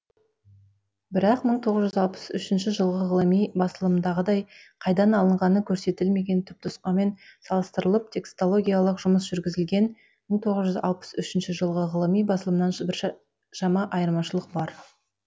бірақ мың тоғыз жүз алпыс үшінші жылғы ғылыми басылымдағыдай қайдан алынғаны көрсетілмеген түпнұсқамен салыстырылып текстологиялық жұмыс жүргізілген мың тоғыз жүз алпыс үшінші жылғы ғылыми басылымнан біршама айырмашылық бар